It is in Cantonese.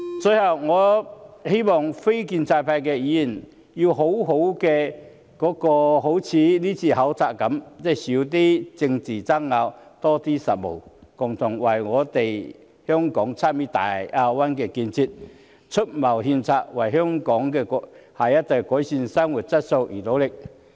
最後，我希望非建制派的議員，要好好......即正如今次考察般，少些政治爭拗，多些實務，共同為香港參與大灣區的建設，出謀獻策，為香港下一代改善生活質素而努力。